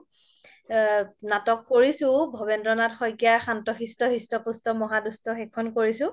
নাটক কৰিছো ভবেন্দ্ৰ নাথ শইকীয়াৰ শান্ত-শিষ্ট হৃষ্ট-পুষ্ট মহাদুষ্ট সেইখন কৰিছো